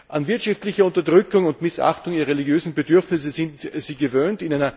An wirtschaftlicher Unterdrückung und Missachtung ihrer religiösen Bedürfnisse sind sie gewöhnt.